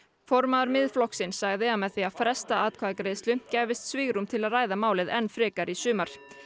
formaður Miðflokksins sagði að með því að fresta atkvæðagreiðslu gæfist svigrúm til að ræða málið enn frekar í sumar